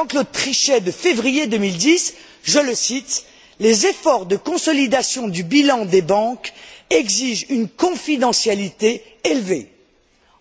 Jean Claude Trichet de février 2010, je le cite Les efforts de consolidation du bilan des banques exigent une confidentialité élevée.